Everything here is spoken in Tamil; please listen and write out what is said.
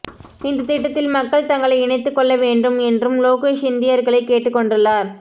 இந்த திட்டத்தில் மக்கள் தங்களை இணைத்துக் கொள்ள வேண்டும் என்றும் லோகேஷ் இந்தியர்களை கேட்டுக் கொண்டுள்ளார்